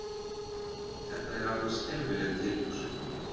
Þetta er alveg skelfileg tilhugsun